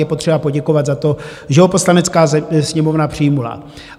Je potřeba poděkovat za to, že ho Poslanecká sněmovna přijala.